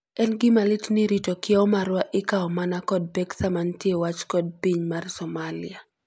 En gima lit ni rito kieo marwa ikao mana kod pek sama nitie wach kod piny mar Somalia.